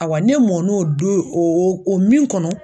Ayiwa ne mɔn'o don o o min kɔnɔ.